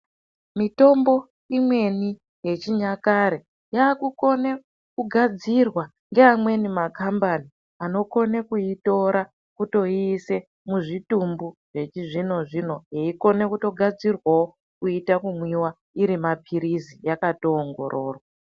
Mitombo imweni yechinyakare yakukone kugadzirwa ngeamweni makhambani anokone kuitora kutoiise muzvitumbu zvechizvino-zvino yeikone kutogadzirwawo kuita kumwiwa iri maphirizi yakatoongororwa.